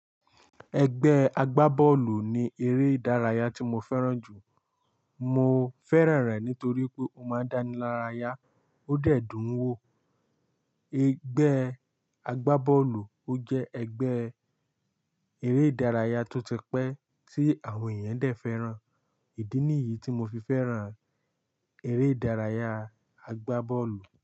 Ẹgbẹ́ agbábọ́ọ̀lù ni eré ìdárayá tí mo fẹ́ràn jù. Mo fẹ́ràn rẹ̀ nítorí pé ó máa ń dánilárayá ó dẹ̀ dùn ún wò. Ẹgbẹ́ agbábọ́ọ̀lù ó jẹ́ ẹgbẹ́ eré ìdárayá tó ti pẹ́ tí àwọn èèyàn dẹ̀ fẹ́ràn. Ìdí nìyí tí mo fi fẹ́ràn eré ìdárayá agbábọ́ọ̀lù.